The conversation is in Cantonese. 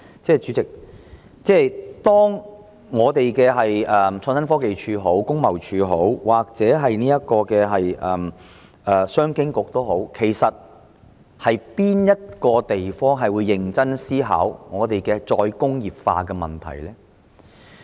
主席，無論是創新科技署、工貿署或商務及經濟發展局，其實哪個部門會認真思考再工業化的問題呢？